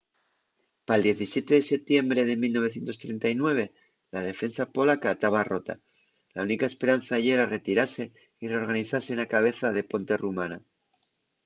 pal 17 de setiembre de 1939 la defensa polaca taba rota la única esperanza yera retirase y reorganizase na cabeza de ponte rumana